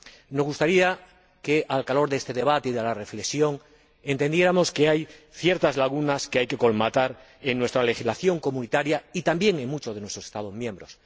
Me gustaría que, al calor de este debate y de la reflexión, entendiéramos que hay ciertas lagunas que hay que colmatar en la legislación de la UE y también en muchos de sus Estados miembros.